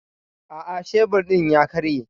Aa, shebir din ya karye.